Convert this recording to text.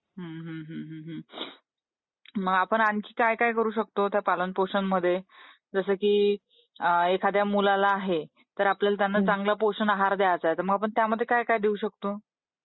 हम्म हम्म हम्म!! मग आपण आणखी काय काय करू शकतो त्या पालन पोषण मध्ये जसं की एखाद्या मुलाला आहे तर आपण त्याला चांगला पोषण आहार द्यायचा. मग आपण त्यामध्ये काय काय देऊ शकतो?